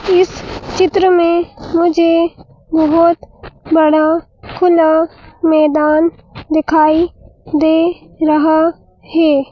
इस चित्र में मुझे बहुत बड़ा खुला मैदान दिखाई दे रहा है।